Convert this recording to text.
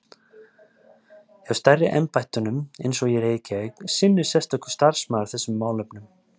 Hjá stærri embættunum, eins og í Reykjavík, sinnir sérstakur starfsmaður þessum málefnum.